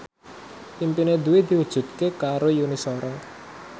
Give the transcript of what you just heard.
impine Dwi diwujudke karo Yuni Shara